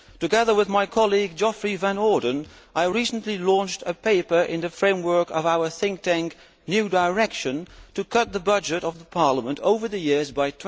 Together with my colleague Geoffrey Van Orden, I recently launched a paper in the framework of our think tank, New Direction, to cut the budget of the Parliament over the years by